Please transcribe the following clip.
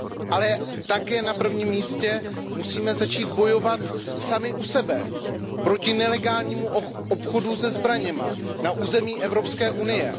Ale také na prvním místě musíme začít bojovat sami u sebe proti nelegálnímu obchodu se zbraněmi na území Evropské unie.